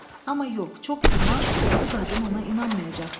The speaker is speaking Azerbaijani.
Amma yox, çox güman bu qadın ona inanmayacaqdı.